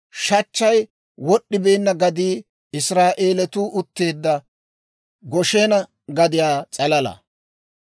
Shachchay wod'd'ibeenna gadii Israa'eelatuu utteedda Goshena gadiyaa s'alala.